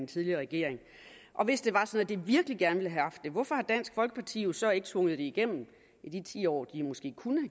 tidligere regering hvis det var sådan virkelig gerne ville have haft det hvorfor har dansk folkeparti så ikke tvunget det igennem i de ti år de måske kunne